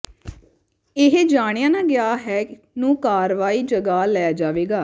ਇਹ ਜਾਣਿਆ ਨਾ ਗਿਆ ਹੈ ਨੂੰ ਕਾਰਵਾਈ ਜਗ੍ਹਾ ਲੈ ਜਾਵੇਗਾ